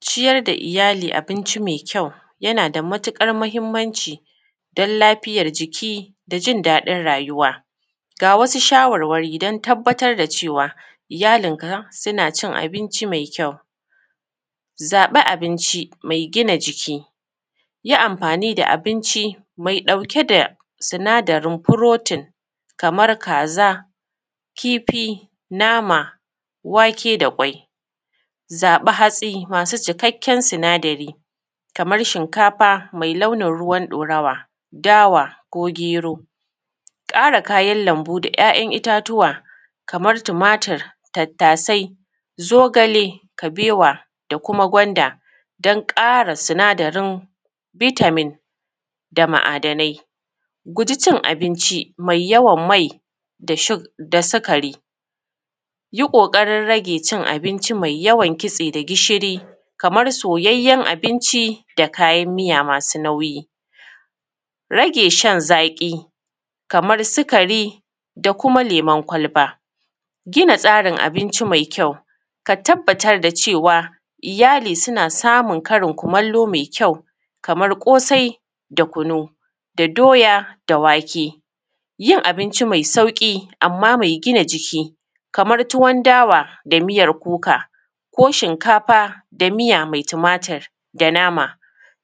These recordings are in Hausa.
Ciyar da iyali abinci mai kayau yana da matuƙar muhimmanci don lafiyan jiki da jin daɗin rayuwa. Ga wasu shawarwari don tabbatar da cewa iyallinka suna cin abinci mai kyau. Zaɓi abinci mai gina jiki, yi amfani da abinci mai ɗauke da sinadarin protein, kamar kaza, kifi, nama, wake da ƙwai. Zaɓi hatsi masu cikakken sinadari kaman shinkafa mai launin ruwan dorawa, dawa ko gero, ƙara kayan lambu da ‘ya’yan itatuwa kamar tumatur, tattasai, zogale, kabewa da kuma gwanda don ƙara sinadarin vitamin da mu'adanai, guji cin abinci mai yawan mai da sikari, yi ƙoƙarin rage cin abinci mai yawan kitse da gishiri kamar soyyayen abinci da kayan miya masu nauyi, rage shaan zaƙi kamar sikari da kuma lemon kwalba. Gina tsarin abinci mai kyau, ka tabbatar da cewa iyali suna samun karin kumallo mai kyau kaman ƙosai da kunu da doya da wake. Yin abinci mai sauƙi amma mai gina jiki kaman tuwan dawa da miyan kuka ko shinkafa da miya mai tumatur da nama,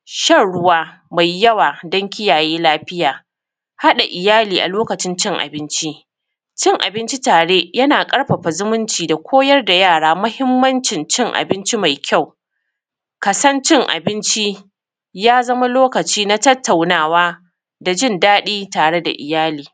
shan ruwa mai yawa don kiyaye lafiya, haɗa iyali a lokacin cin abinci, cin abinci tare yana ƙarfafa zumunci, da koyar da yara muhimmancin cin abinci mai kyau. Ka san cin abinci ya zama lokaci na tattaunawa da jindaɗi tare da iyali.